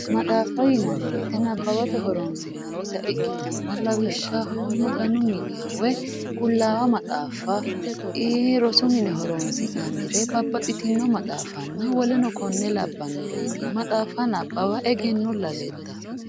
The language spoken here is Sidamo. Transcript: Maxaaffa yinanni woyiite nabbawate horonsi'nnita ikkitanna, lawishshaho Maganu miniha qullaawa maxaafa rosu mine horonsi'annire babbaxitinno maxaaffanna woleno konne labbannoreeti. Maxaaffa nabawa egennolla leddawo.